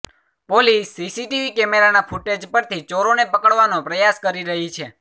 police CCTV કૅમેરાના footage પરથી ચોરોને પકડવાનો પ્રયાસ કરી રહી છે